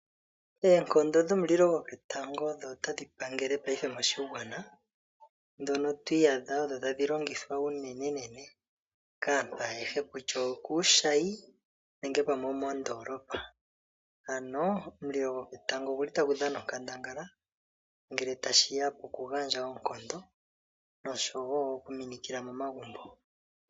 Oonkondo dhomulilo gwoketango odho tadhi pangele paife moshigwana, ndhono twiiyadha odho tadhi landithwa unenenene kaantu ayehe kutya okuushayi nenge pamwe omoondoolopa. Ano omulilo gwoketango oguli tagu dhana onkandangala ngele tashiya pokugandja oonkondo nosho wo okuminikila momagumbo.